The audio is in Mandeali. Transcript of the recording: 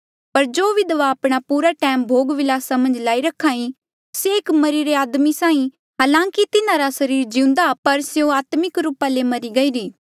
पर जो विधवा आपणा पूरा टैम भोग विलासा मन्झ लाई रखा ई से एक मरिरे आदमी साहीं हालांकि तिन्हारा सरीर जिउंदा पर स्यों आत्मिक रूपा ले मरी गईरी